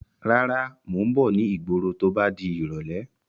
Rárá, Mo ń bọ̀ ni ìgboro to bá di irọ̀lẹ́.